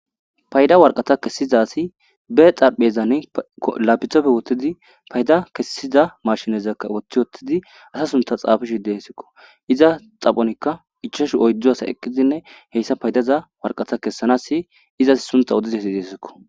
payda warqata kessizasi be xarpheyezan laapithafe wottidi payda kessiza mashinezakka woththi wottidi asa sunta xaafishi deesikko iza xaphonikka ichashu oydzo asa eqqizinne heyssa paydaza warqata kessanassi izasi suntha odizayisa gizayisako